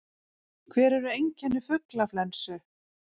Hver eru einkenni fuglaflensu?